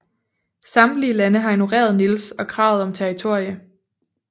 Samtlige lande har ignoreret Niels og kravet om territorie